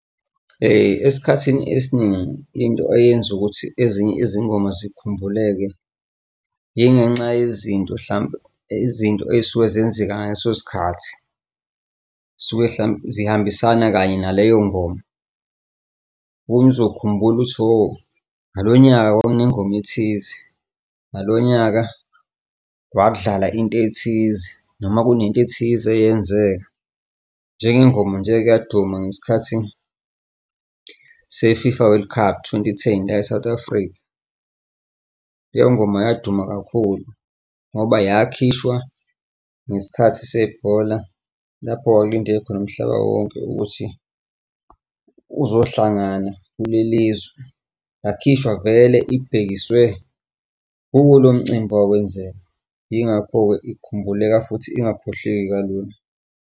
Esikhathini esiningi into eyenza ukuthi ezinye izingoma zikhumbuleke yingenxa yezinto hlampe izinto ey'suke zenzeka ngaleso sikhathi zisuke hlampe zihambisana kanye naleyo ngoma khona uzokhumbula lutho oh, ngalo nyaka kwakunengoma ethize, ngalonyaka kwakudlala into ethize noma kunento ethize eyenzeka njenge ngoma nje eyike yaduma ngesikhathi se-FIFA World Cup twenty-ten la e-South Africa leyo ngoma yaduma kakhulu ngoba yakhishwa ngesikhathi sebhola lapho wawulindele khona umhlaba wonke ukuthi uzohlangana kule lizwe yakhishwa vele ibhekise kuwo lo mcimbi owawenziwa. Yingakho-ke ikhumbuleka futhi ingakhohlweki kalula.